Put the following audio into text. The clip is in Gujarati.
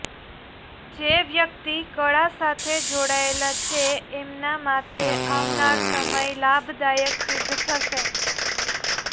જે વ્યક્તિ કળા સાથે જોડાયેલા છે એમના માતે આવનાર સમય લાભદાયક સિદ્ધ થશે